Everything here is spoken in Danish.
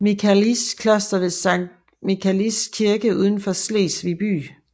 Michaelis Kloster ved Sankt Michaelis Kirke uden for Slesvig by